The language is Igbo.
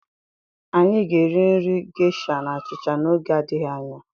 Anyị ga-eri nri Gesha na achịcha n'oge adịghị anya.